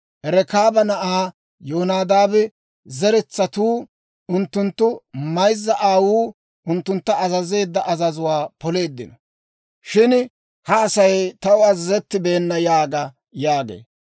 Rekaaba na'aa Yonadaaba zeretsatuu unttunttu mayzza aawuu unttuntta azazeedda azazuwaa poleeddino; shin ha Asay taw azazettibeenna› yaaga» yaagee.